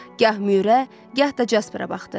Gah Müürə, gah da Jasperə baxdı.